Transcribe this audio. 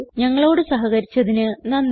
ഞങ്ങളോട് സഹകരിച്ചതിന് നന്ദി